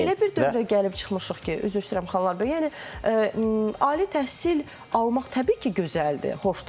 Biz elə bir dövrə gəlib çıxmışıq ki, üzr istəyirəm xanımlar, bəy, yəni ali təhsil almaq təbii ki, gözəldir, xoşdur.